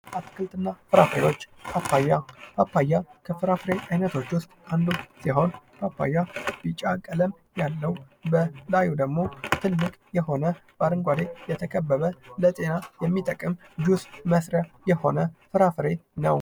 አትክልት እና ፍራፍሬዎች ። ፓፓያ ፡ ፓፓያ ከፍራፍሬ አይነቶች ውስጥ አንዱ ሲሆን ፓፓያ ቢጫ ቀለም ያለው በላዩ ደግሞ ትልቅ የሆነ በአረንጓዴ የተከበበ ለጤና የሚጠቀም ጁስ መስርያ የሆነ ፍራፍሬ ነው ።